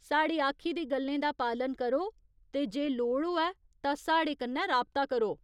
साढ़ी आखी दी गल्लें दा पालन करो ते जे लोड़ होऐ तां साढ़े कन्नै राबता करो।